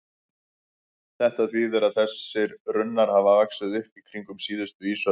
Þetta þýðir að þessir runnar hafa vaxið upp í kringum síðustu ísöld.